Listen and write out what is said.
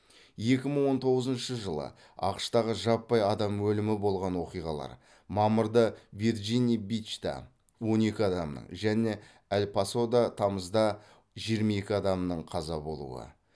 екі мың он тоғызыншы жылы ақш тағы жаппай адам өлімі болған оқиғалар мамырда вирджинии бичта он екі адамның және эль пасода тамызда жиырма екі адамның қаза болуы